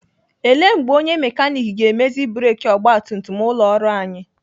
Ele mgbe onye mekanik ga-emezi breki ọgbatumtum ụlọ ọrụ anyị?